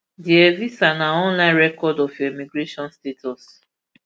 di evisa na online record of your immigration status